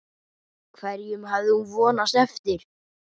Hverjum hafði hún vonast eftir?